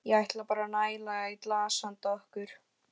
Ég ætla bara að næla í glas handa okkur.